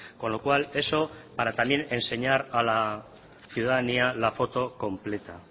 con lo cual eso para también enseñar a la ciudadanía la foto completa